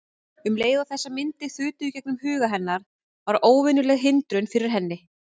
Um leið og þessar myndir þutu í gegnum huga hennar varð óvenjuleg hindrun fyrir henni.